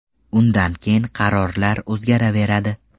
Undan keyin qarorlar o‘zgaraveradi.